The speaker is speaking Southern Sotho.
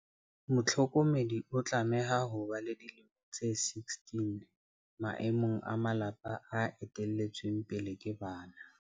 Mohlokomedi o tlameha ho ba le dilemo tse 16 maemong a malapa a ete lletsweng pele ke bana.